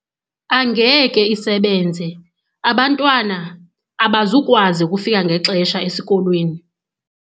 Angeke isebenze abantwana abazukwazi ukufika ngexesha esikolweni.